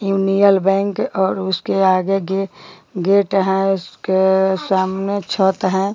Union Bank और उसके आगे गे गेट है उसके सामने छत है।